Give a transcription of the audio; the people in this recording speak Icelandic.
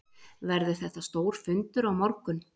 Verður þetta stór fundur á morgun?